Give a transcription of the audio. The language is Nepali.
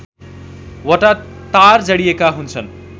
वटा तार जडिएका हुन्छन्